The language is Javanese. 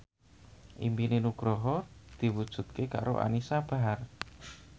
impine Nugroho diwujudke karo Anisa Bahar